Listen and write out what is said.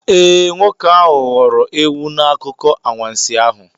Ee, nwoke ahụ ghọrọ ewu n'akụkọ anwansị ahụ